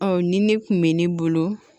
Ɔ ni ne kun bɛ ne bolo